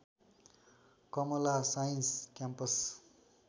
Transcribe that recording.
Kamala science campus